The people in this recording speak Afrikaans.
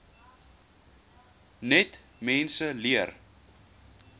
net mense leer